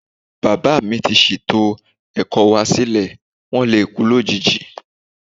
Bàbáà mi ti ṣètò ẹ̀kọ́ wá sílẹ̀. Wón lè kú lójijì.